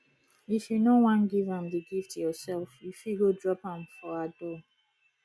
if you no wan give am the gift yourself you go fit drop am for her door